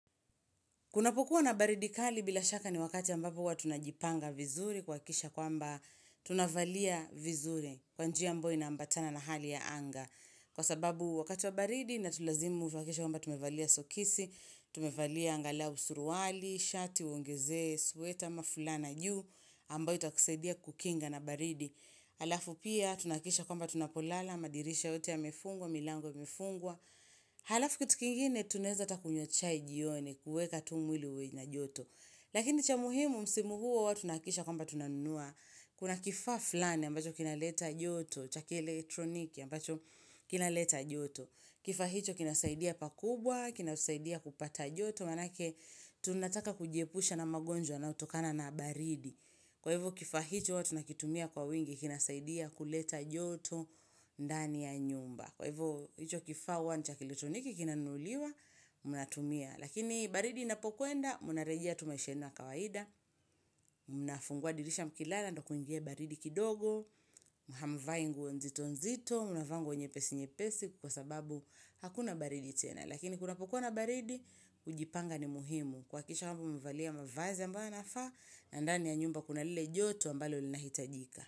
Kunapokuwa na baridi kali bila shaka ni wakati ambapo huwa tunajipanga vizuri kuakikisha kwamba tunavalia vizuri kwa njia ambao inaambatana na hali ya anga. Kwa sababu wakati wa baridi inatulazimu uhakikisha kwamba tumevalia sokisi, tumevalia angalau suruali, shati, uongezue, sweta, ama fulana juu ambayo itakusaidia kukinga na baridi. Halafu pia tunakikisha kwamba tunapolala, madirisha yote yamefungwa, milango imefungwa. Halafu kitu kingine tunaeza hata kunywa chai jioni kuweka tu mwili uwe ina joto Lakini cha muhimu msimu huu huwa tunakikisha kwamba tunanunua Kuna kifaa flani ambacho kinaleta joto cha kielektroniki ambacho kinaleta joto Kifaa hicho kinasaidia pakubwa, kinasaidia kupata joto Manake tunataka kujiepusha na magonjwa yanayotokana na baridi Kwa hivyo kifaa hicho huwa tunakitumia kwa wingi kinasaidia kuleta joto ndani ya nyumba Kwa hivyo, icho kifaa huwa ni cha kielektroniki, kinanuliwa, mnatumia. Lakini, baridi inapokuenda, mnarejea tu maisha yenu ya kawaida, mnafungua dirisha mkilala, ndo kuingie baridi kidogo, hamvai nguo nzito nzito, mnavaa nguo nyepesi nyepesi, kwa sababu, hakuna baridi tena. Lakini, kunapokuwa na baridi, kujipanga ni muhimu. Kuhakikisha kwamba, umevalia mavazi ambayo yanafaa, na ndani ya nyumba kuna lile joto, ambalo linahitajika.